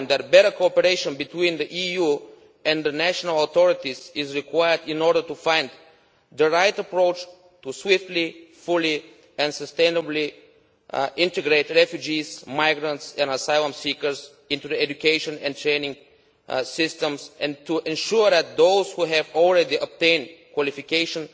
Better cooperation between the EU and the national authorities is required in order to find the right approach to swiftly, fully and sustainably integrating refugees, migrants and asylum seekers into education and training systems and ensuring that those who have already obtained qualifications